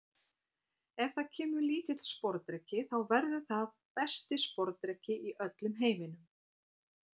Ef það kemur lítill sporðdreki þá verður það besti sporðdreki í öllum heiminum.